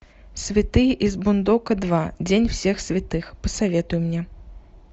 святые из бундока два день всех святых посоветуй мне